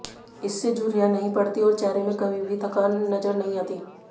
इससे झुर्रियां नहीं पड़ती और चेहरे में कभी भी थकान नजर नहीं आती